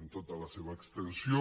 en tota la seva extensió